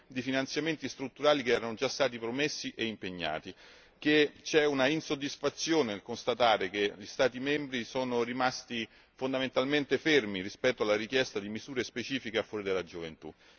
di finanziamenti strutturali che erano già stati promessi e impegnati, che c'è insoddisfazione nel constatare che gli Stati membri sono rimasti fondamentalmente fermi rispetto alla richiesta di misure specifiche a favore della gioventù.